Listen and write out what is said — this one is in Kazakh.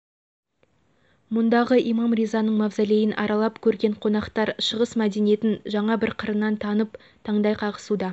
мұндағы имам ризаның мазолейін аралап көрген қонақтар шығыс мәдениетін жаңа бір қырынан танып таңдай қағысуда